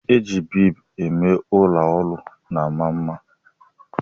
I ji biid eme ọla olu na-ama mma.